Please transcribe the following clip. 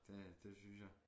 Det det synes jeg